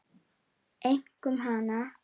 Einkum hana.